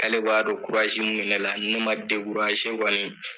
K'ale b'a dɔn ko kurazi min bɛ ne la ni ne ma dekuraze kɔnii